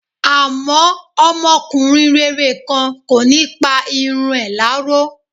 Àmọ́, ọmọkùnrin rere kan, kò ní pa irun ẹ̀ láró.